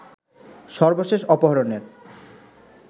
সর্বশেষ অপহরণের